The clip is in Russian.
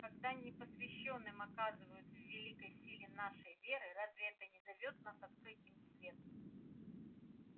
когда непосвящённым отказывают в великой силе нашей веры разве это не зовёт нас открыть им свет